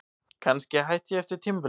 Kannski hætti ég eftir tímabilið.